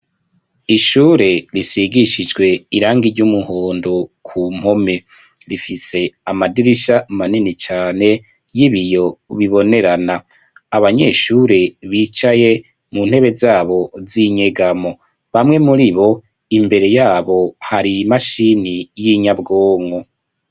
Ishure risigishijwe irangi ry'umuhondo ku mpome rifise amadirisha manini cane y'ibiyo bibonerana abanyeshure bicaye mu ntebe zabo z'inyegamo bamwe muri bo imbere yabo hari imashini y'inyabwonko.